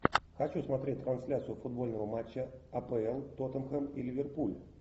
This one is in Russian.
хочу смотреть трансляцию футбольного матча апл тоттенхэм и ливерпуль